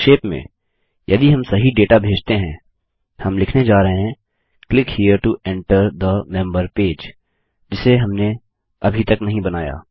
संक्षेप में यदि हम सही डेटा भेजते हैं हम लिखने जा रहे हैं click here to enter the member page जिसे हमने अभी तक नहीं बनाया